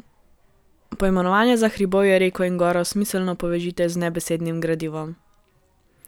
Poimenovanja za hribovje, reko in goro smiselno poveži z nebesednim gradivom.